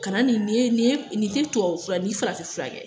Kana ni, ni ye, ni tɛ tubabu fura ye, ni farafin fura kɛ